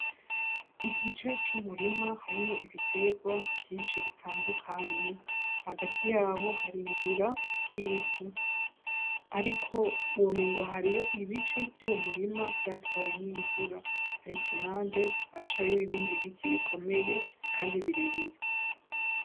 Igice c'umurima harimwo ibiterwa vyinshi bitandukanye. Hagati yawo hari inzira z'ivu. Ariko womengo hariyo ibice vy'uwo murima vyatwawe n'imvura. Ariko impande haracariho ibindi biti bikomeye kandi birebire.